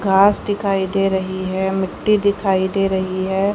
घास दिखाई दे रही है मिट्टी दिखाई दे रही है।